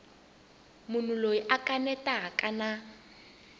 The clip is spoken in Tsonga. munhu loyi a kanetaka na